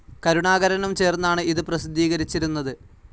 കരുണാകരനും ചേർന്നാണ് ഇത് പ്രസിദ്ധീകരിച്ചിരുന്നത്